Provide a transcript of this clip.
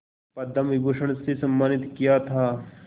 पद्म विभूषण से सम्मानित किया था